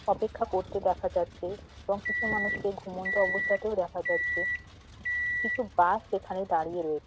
অপেক্ষা করতে দেখা যাচ্ছে এবং কিছু মানুষকে ঘুমন্ত অবস্থাতেও দেখা যাচ্ছে। কিছু বাস এখানে দাঁড়িয়ে রয়ে--